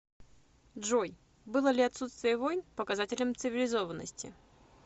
джой было ли отсутствие войн показателем цивилизованности